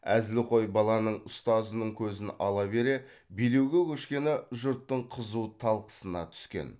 әзілқой баланың ұстазының көзін ала бере билеуге көшкені жұрттың қызу талқысына түскен